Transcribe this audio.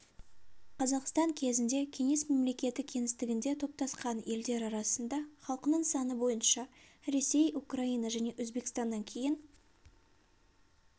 қазақстан кезінде кеңес мемлекеті кеңістігінде топтасқан елдер арасында халқының саны бойынша ресей украина және өзбекстаннан кейін